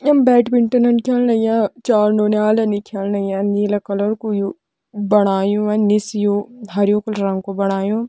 यम badminton खेलण लग्यां चार नौनियाल नि खेलण लग्यां नीला कलर कू यू बणायु निस यू हरयूं रंग कू बणायु।